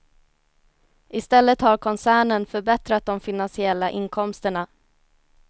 I stället har koncernen förbättrat de finansiella inkomsterna.